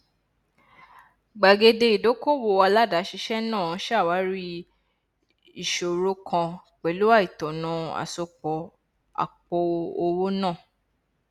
gbàgede ìdókòwò aládàáṣiṣẹ náà ṣàwárí ìṣòro kan pẹlú àìtọnà àsopọ àpòowó náà